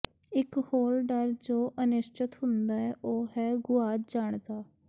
ਇਕ ਹੋਰ ਡਰ ਜੋ ਅਨਿਸ਼ਚਤ ਹੁੰਦਾ ਹੈ ਉਹ ਹੈ ਗੁਆਚ ਜਾਣ ਦਾ